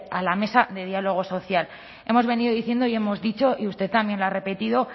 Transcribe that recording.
a la mesa de diálogo social hemos venido diciendo y hemos dicho y usted también lo ha repetido